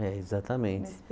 É, exatamente.